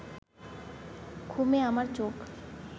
ঘুমে আমার চোখ